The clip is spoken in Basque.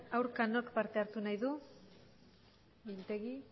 aurka nork parte hartu nahi du mintegi